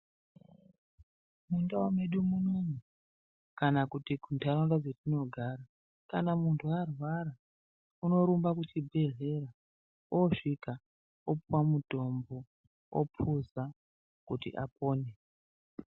Mundau medu munomu kana kuti kuntharaunda dzetinogara kana munthu arwara unorumba kuchibhedhlera osvika opuwa mutombo opuza kuti apone.